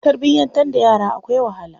Tarbiyantar da yara akwai wahala.